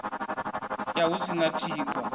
ya hu si na thikhwa